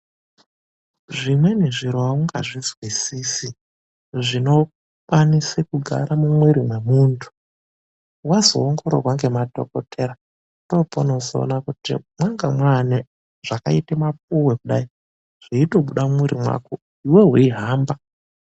Zvimweni zviro aungazvizwisisi zvinokwanise kugara mumwiri mwemuntu. Wakazoongororwa ngekadhokodhera, ndoopaunozoona kuti mwanga mwaane zvakaite kunge mapuwe kudai, zveitobusa mumwiiri mwako, iwewe weihamba.